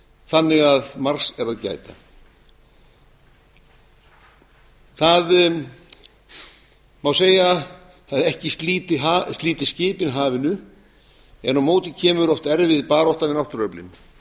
þannig að margs er að gæta það má segja að ekki slíti skipin hafinu en á móti kemur oft erfið barátta við náttúruöflin